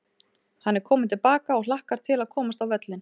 Hann er kominn til baka og hlakkar til að komast á völlinn.